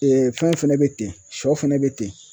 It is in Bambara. fɛn fɛnɛ be ten, sɔ fɛnɛ be ten.